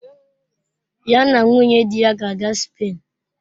Ya na nwunye di ya ga-aga Spen.